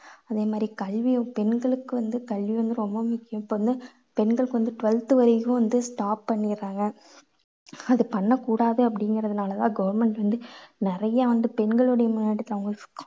அதே மாதிரி கல்வி பெண்களுக்கு வந்து கல்வி வந்து ரொம்ப முக்கியம். இப்போ வந்து பெண்களுக்கு வந்து twelfth வரைக்கும் வந்து stop பண்ணிடுறாங்க. அது பண்ண கூடாது அப்படிங்கறதுனால தான் government வந்து நிறைய வந்து பெண்களுடைய முன்னேற்றத்துல அவங்க